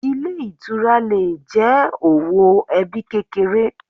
Ilé Ìtura le è jẹ́ òwò ebí kékeré